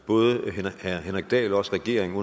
både herre henrik dahl og også regeringen